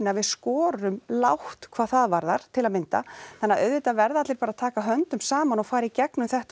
að við skorum lágt hvað það varðar til að mynda þannig að auðvitað verða allir bara að taka höndum saman og fara í gegnum þetta